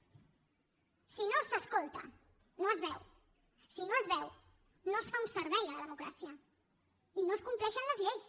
si no s’escolta no es veu si no es veu no es fa un servei a la democràcia i no es compleixen les lleis